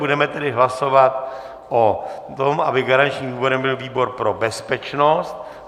Budeme tedy hlasovat o tom, aby garančním výborem byl výbor pro bezpečnost.